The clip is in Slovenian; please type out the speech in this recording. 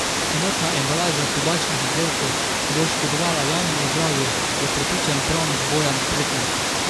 Enotna embalaža tobačnih izdelkov bo škodovala javnemu zdravju, je prepričan pravnik Bojan Pretnar.